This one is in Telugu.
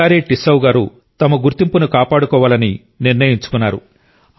సికారి టిస్సౌ గారు తమ గుర్తింపును కాపాడుకోవాలని నిర్ణయించుకున్నారు